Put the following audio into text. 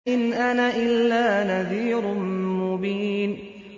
إِنْ أَنَا إِلَّا نَذِيرٌ مُّبِينٌ